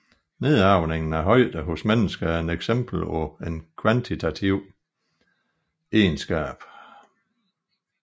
Nedarvningen af højde hos mennesker er et eksempel på en kvantitativ egenskab